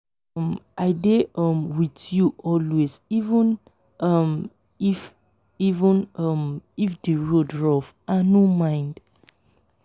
um i dey um with you always even um if even um if the road rough i no mind